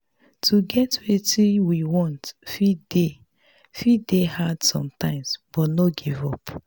to get wetin we want fit dey fit dey hard sometimes but no give up